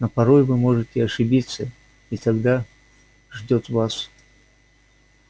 но порой вы можете ошибиться и тогда ждёт вас